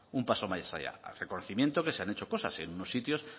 un paso más allá al reconocimiento que se han hecho cosas en unos sitios